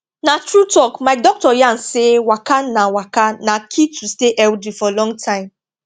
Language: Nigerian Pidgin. na true talk my doctor yarn say waka na waka na key to stay healthy for long time